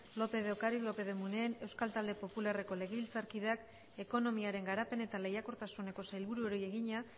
lópez de ocariz lópez de munain euskal talde popularreko legebiltzarkideak ekonomiaren garapen eta lehiakortasuneko sailburuari egina